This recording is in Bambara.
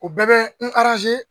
O bɛɛ bɛ n